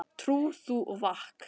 Trú þú og vak.